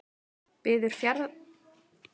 Biður ferðafélaga afsökunar